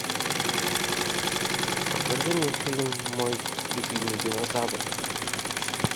покажи мне фильм мой любимый динозавр